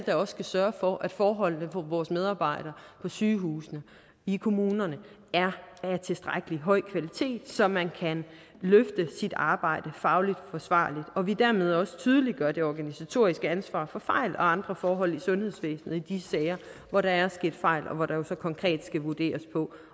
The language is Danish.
er der skal sørge for at forholdene for vores medarbejdere på sygehusene i kommunerne er af tilstrækkelig høj kvalitet så man kan løfte sit arbejde fagligt forsvarligt og vi dermed også tydeliggør det organisatoriske ansvar for fejl og andre forhold i sundhedsvæsenet i de sager hvor der er sket fejl og hvor der så konkret skal vurderes på